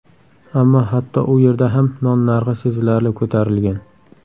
Ammo hatto u yerda ham non narxi sezilarli ko‘tarilgan.